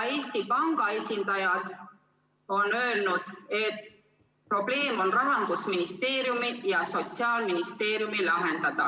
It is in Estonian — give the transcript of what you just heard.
Eesti Panga esindaja on öelnud, et probleem on Rahandusministeeriumi ja Sotsiaalministeeriumi lahendada.